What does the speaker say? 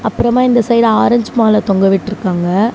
அப்புறமா இந்த side orange மால தொங்க விட்ருக்காங்க.